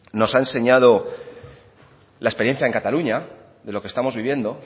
nos ha enseñado la experiencia en cataluña de lo que estamos viviendo